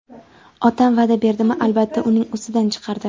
Otam va’da berdimi, albatta, uning ustidan chiqardi.